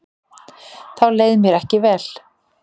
Þá leið mér ekki vel.